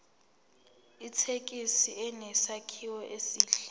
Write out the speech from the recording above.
ithekisi inesakhiwo esihle